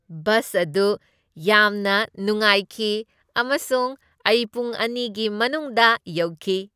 Bus ꯑꯗꯨ ꯌꯥꯝꯅ ꯅꯨꯡꯉꯥꯏꯈꯤ ꯑꯃꯁꯨꯡ ꯑꯩ ꯄꯨꯡ ꯑꯅꯤꯒꯤ ꯃꯅꯨꯡꯗ ꯌꯧꯈꯤ꯫